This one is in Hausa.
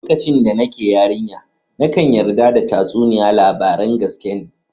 Lokacin da nake yarinya, nakan yarda da tatsuniya labaran gaskiya ne.